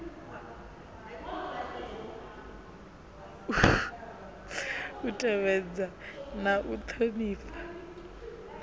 u tevhedza na u ṱhonifha